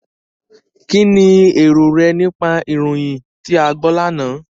Kínni èrò rẹ nípa ìròyìn tí a gbọ́ lánàá?